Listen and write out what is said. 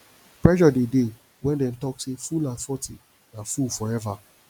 pressure de dey when dem talk sey fool at forty na fool forever